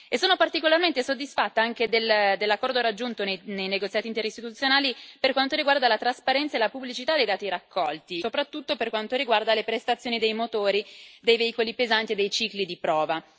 Sono particolarmente soddisfatta anche dell'accordo raggiunto nei negoziati interistituzionali per quanto riguarda la trasparenza e la pubblicità dei dati raccolti, soprattutto per quanto riguarda le prestazioni dei motori dei veicoli pesanti e dei cicli di prova.